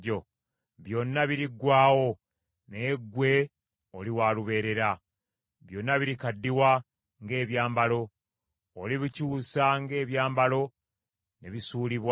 Byonna biriggwaawo, naye ggwe oli wa lubeerera. Byonna birikaddiwa ng’ebyambalo. Olibikyusa ng’ebyambalo, ne bisuulibwa.